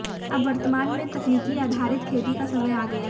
पर अब वर्तमान में तकनीकी आधारित खेती का समय आ गया है